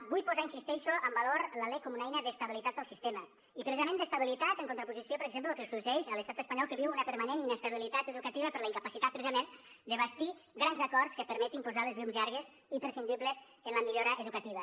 vull posar hi insisteixo en valor la lec com una eina d’estabilitat per al sistema i precisament d’estabilitat en contraposició per exemple del que sorgeix a l’estat espanyol que viu una permanent inestabilitat educativa per la incapacitat precisament de bastir grans acords que permetin posar les llums llargues imprescindibles en la millora educativa